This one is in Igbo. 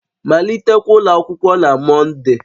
Malitekwa ụlọ akwụkwọ na Mọnde!